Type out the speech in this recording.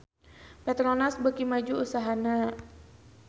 Petronas beuki maju usahana